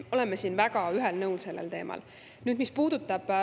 Me oleme sellel teemal väga ühel nõul.